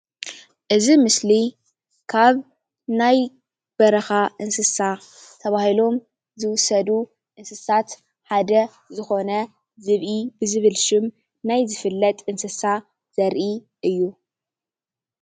እዚ ምስሊ ካብ ናይ በረካ እንስሳ ተባሂሎም ዝውሰዱ እንስሳት ሓደ ዝኮነ ዝብኢ ብዝብል ሽም ናይ ዝፍለጥ እንስሳ ዘርኢ እዩ፡፡